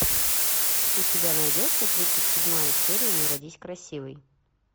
у тебя найдется тридцать седьмая серия не родись красивой